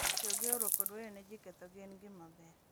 Tiyo gi horuok kod weyo ne ji kethogi en gima ber